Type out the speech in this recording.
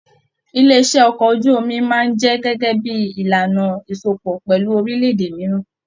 Ilé iṣẹ okọ̀ ojú omi máa n jẹ gẹgẹ bí ìlànà ìsopọ̀ pẹlú orilẹ-èdè mìíràn.